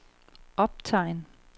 optegn